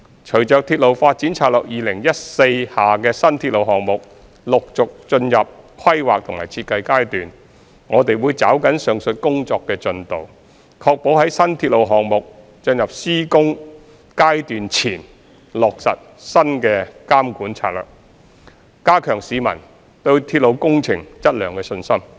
隨着《鐵路發展策略2014》下的新鐵路項目陸續進入規劃及設計階段，我們會抓緊上述工作的進度，確保在新鐵路項目進入施工階段前落實新監管策略，加強市民對鐵路工程質量的信心。